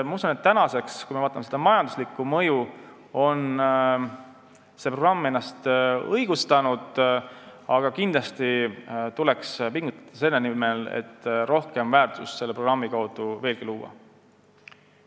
Ma usun, et kui me vaatame selle programmi majanduslikku mõju, siis praeguseks on see ennast õigustanud, aga kindlasti tuleks pingutada selle nimel, et luua programmi kaudu veelgi rohkem väärtust.